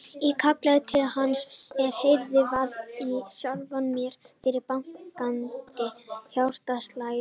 Ég kallaði til hans en heyrði varla í sjálfri mér fyrir bankandi hjartslættinum.